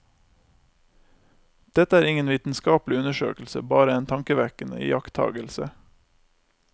Dette er ingen vitenskapelig undersøkelse, bare en tankevekkende iakttagelse.